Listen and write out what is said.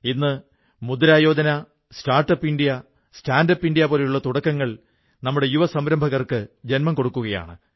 ഇന്ന് Mudra Yojana startup India standup India പോലുള്ള തുടക്കങ്ങൾ നമ്മുടെ യുവ സംരഭകർക്ക് ജന്മം കൊടുക്കുകയാണ്